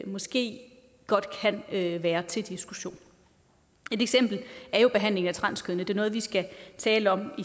måske godt kan være til diskussion et eksempel er jo behandlingen af transkønnede det noget vi skal tale om